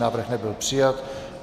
Návrh nebyl přijat.